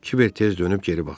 Kiber tez dönüb geri baxdı.